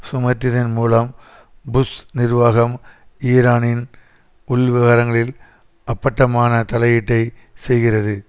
சுமத்தியதன் மூலம் புஷ் நிர்வாகம் ஈரானின் உள்விவகாரங்களில் அப்பட்டமான தலையீட்டை செய்கிறது